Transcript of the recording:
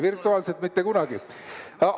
Virtuaalselt mitte kunagi!